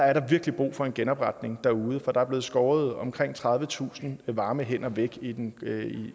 er der virkelig brug for en genopretning derude for der er blevet skåret omkring tredivetusind varme hænder væk i den